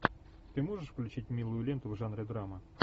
ты можешь включить милую ленту в жанре драма